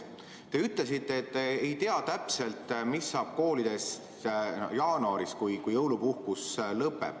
Te ütlesite, et te ei tea täpselt, mis saab koolidest jaanuaris, kui jõulupuhkus lõpeb.